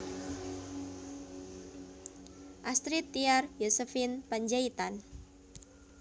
Astrid Tiar Yosephine Panjaitan